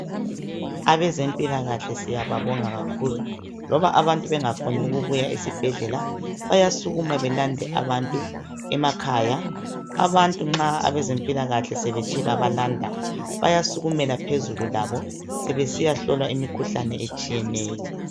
Abezempilakahle siyababonga kakhulu loba abantu bengafuni ukubuya esibhedlela bayasukuma belande abantu emakhaya abantu nxa abezempilakahle sebethe babalanda bayasukumela phezulu labo sebesiyahlolwa imikhuhlane etshiyeneyo